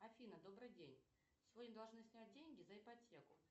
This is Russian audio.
афина добрый день сегодня должны снять деньги за ипотеку